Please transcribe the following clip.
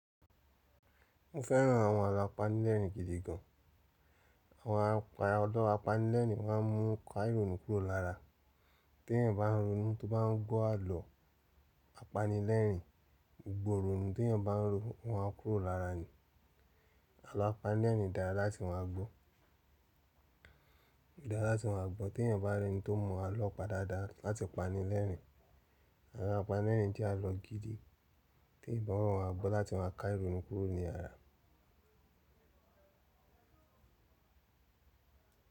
Mo fẹ́ràn àwọn àlọ́ apanilẹ́rìín gidi gan. Àwọn àlọ́ apanilẹ́rìn máa ń mú ká ìrònú kúrò lára. Tí èèyàn bá ń ronú tó bá ń gbọ́ àlọ́ apanilẹ́rìn, gbogbo ìrònú téyàn bá ń rò, wọ́n á kúrò lára ni. Àlọ́ apanilẹ́rìn dára láti máa gbọ́. Dára láti máa gbọ́ tí èèyàn bá rí ẹni tó mọ àlọ́ pa dára dára láti pani lẹ́rìín. Àlọ́ apanilẹ́rìín jẹ́ àlọ́ gidi tí èèyàn gbọ́dọ̀, máa gbọ́ láti máa ká ìrònú kúrò ní ara.